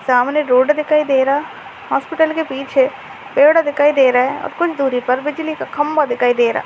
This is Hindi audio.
सामने रोड दिखाई दे रहा है हॉस्पिटल के पीछे पेड़ दिखाई दे रहा है और कुछ दूरी पर बिजली का खंबा दिखाई दे रहा है।